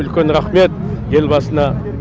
үлкен рахмет елбасына